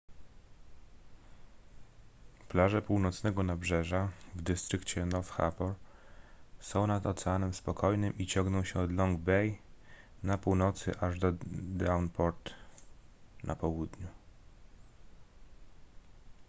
plaże północnego nabrzeża w dystrykcie north harbour są nad oceanem spokojnym i ciągną się od long bay na północy aż do devonport na południu